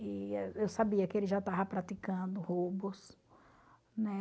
Eu sabia que ele já estava praticando roubos, né?